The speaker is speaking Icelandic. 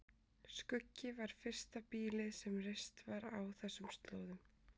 Skuggi var fyrsta býlið sem reist var á þessum slóðum.